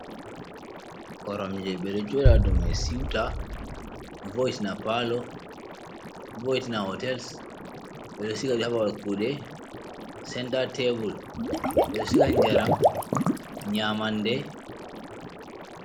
Koromje ɓeɗo joɗa domai siuta, voiiti na pallo voiti na hotels ɓeɗo siga haba babal kude, senta tebul ɓeɗo siga jaram nyaman nde.